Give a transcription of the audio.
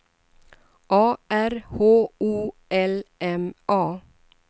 A R H O L M A